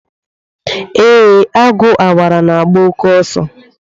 Ee, Agu Awara na-agba oke oso.